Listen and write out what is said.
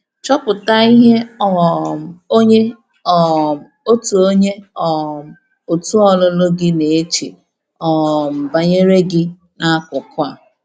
Chọpụtà ihè um onyé um òtù̀ onyé um òtù̀ ọlụ̀lụ̀ gị na-echè um banyeré gị n’akụkụ̀ a.